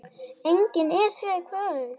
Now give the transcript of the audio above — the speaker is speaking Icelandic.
Engin Esja í kvöld.